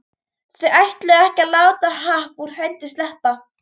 Þau ætluðu ekki að láta happ úr hendi sleppa.